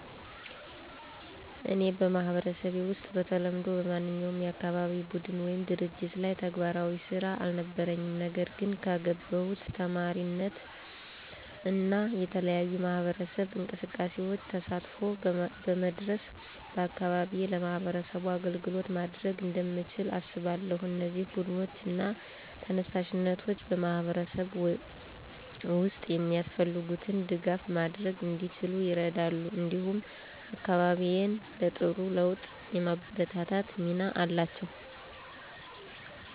እኔ በማህበረሰቤ ውስጥ በተለምዶ በማንኛውም የአካባቢ ቡድን ወይም ድርጅት ላይ ተግባራዊ ስራ አልነበረኝም። ነገር ግን ከገባሁት ተማሪነት እና የተለያዩ የማህበረሰብ እንቅስቃሴዎች ተሳትፎ በመድረስ በአካባቢዬ ለማህበረሰቡ አገልግሎት ማድረግ እንደምችል አስባለሁ። እነዚህ ቡድኖች እና ተነሳሽነቶች በማህበረሰብ ውስጥ የሚያስፈልጉትን ድጋፍ ማድረግ እንዲችሉ ይረዳሉ፣ እንዲሁም አካባቢዬን ለጥሩ ለውጥ የማበርታት ሚና አላቸው።